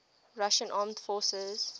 russian armed forces